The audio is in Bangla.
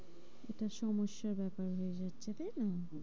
এটা সমস্যার ব্যাপার হয়ে যাচ্ছে তাই না?